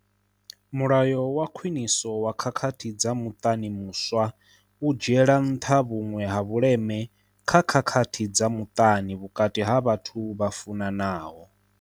Mulayo wa Khwiniso wa Khakhathi dza Muṱani muswa u dzhiela nṱha vhuṅwe ha vhuleme kha khakhathi dza muṱani vhukati ha vhathu vha funanaho.